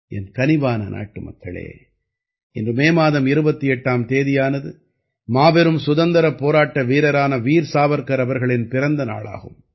என் கனிவான நாட்டுமக்களே இன்று மே மாதம் 28ஆம் தேதியானது மாபெரும் சுதந்திரப் போராட்ட வீரரான வீர் சாவர்க்கர் அவர்களின் பிறந்த நாளாகும்